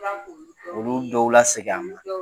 Tla k'olu dɔw olu dɔw la seg'a ma. Olu dɔw